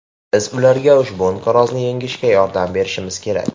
Biz ularga ushbu inqirozni yengishga yordam berishimiz kerak.